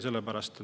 Ei.